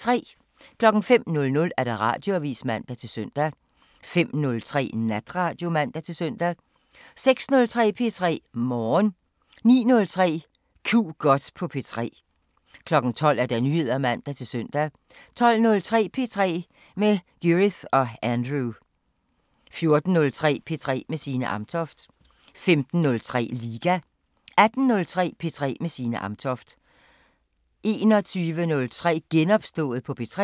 05:00: Radioavisen (man-søn) 05:03: Natradio (man-søn) 06:03: P3 Morgen 09:03: Ku' godt på P3 12:00: Nyheder (man-søn) 12:03: P3 med Gyrith og Andrew 14:03: P3 med Signe Amtoft 15:03: Liga 18:03: P3 med Signe Amtoft 21:03: Genopstået på P3